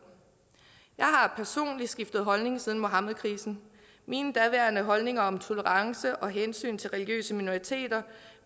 jeg har personligt skiftet holdning siden muhammedkrisen mine daværende holdninger om tolerance og hensyn til religiøse minoriteter